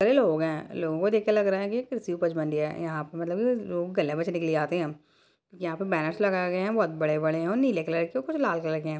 कई लोग हैं लोगों को देख के लग रहा है की कृषि उपज बन रही है यहाँ पे मलतब लोग जाते हम यहाँ पे बैनर लगाए गए हैं बहोत बड़े बड़े हैं नील कलर के कुछ लाल कलर के हैं।